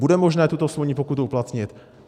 Bude možné tuto smluvní pokutu uplatnit?